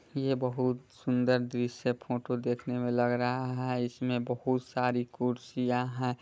ये बहुत सुन्दर दृश्य फोटो देखने मे लग रहा है इसमें बहुत सारी कुर्सीया है।